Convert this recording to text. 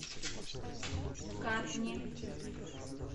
катни